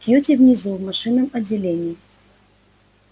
кьюти внизу в машинном отделении